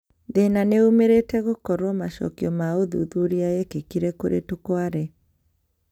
Thĩna nĩumirite gukorwo macokio ma ũthuthuria yekekire kũrĩ tukware